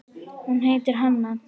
Hún heitir Hanna.